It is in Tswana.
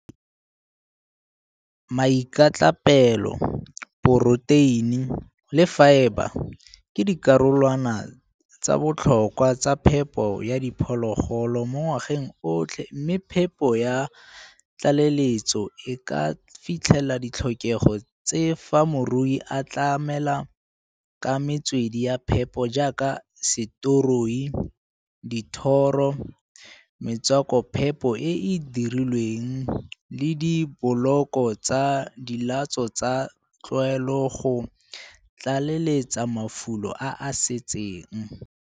Miakatlapelo, poroteine le faeba ke dikarolwana tsa botlhokwa tsa phepo ya diphologolo mo ngwageng otlhe mme phepo ya tlaleletso e ka fitlhelela ditlhokego tse fa morui a a tlamela ka metswedi ya phepo jaaka setoroi, dithoro, metswakophepo e e dirilweng le diboloko tsa dilatso tsa tlwaelo go tlaleletsa mafulo a a setseng.